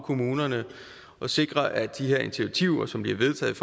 kommunerne og sikre at de her initiativer som bliver vedtaget